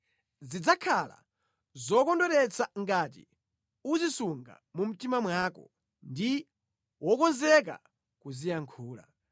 Zidzakhala zokondweretsa ngati uzisunga mu mtima mwako ndi wokonzeka kuziyankhula.